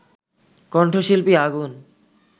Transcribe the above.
কণ্ঠশিল্পী আগুন